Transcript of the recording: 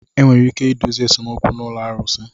Enwere ike idozi esemokwu na ụlọ arusi.